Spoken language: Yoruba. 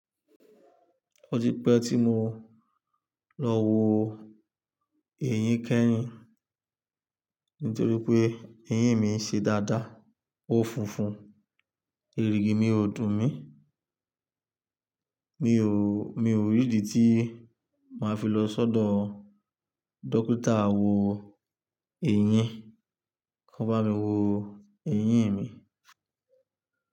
Ó ti pẹ́ tí mo lọ wò eyín kẹrin, nítorí pé eyín mi ń ṣe dada, ó funfun, irigi mi ò dùn mí. Mi ò, mi ò rí ìdí tí máa fi lọ sọ́dọ̀ dókítà wò eyín, kan bá mi wò eyín mi.